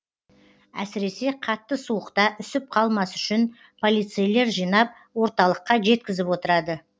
әсіресе қатты суықта үсіп қалмас үшін полицейлер жинап орталыққа жеткізіп отырады